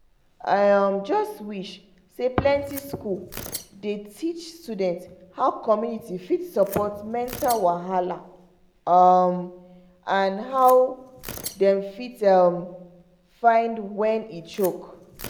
i um just wish say plenty school dey teach students how community fit support mental wahala um and how dem fit um find when e choke